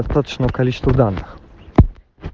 точное количество данных